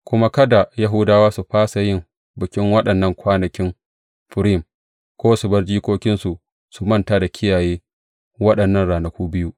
Kuma kada Yahudawa su fasa yin bikin waɗannan kwanakin Furim, ko su bar jikokinsu su manta da kiyaye waɗannan ranaku biyu.